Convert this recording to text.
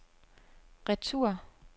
retur